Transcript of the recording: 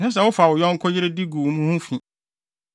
“ ‘Ɛnsɛ sɛ wofa wo yɔnko yere de gu mo ho fi.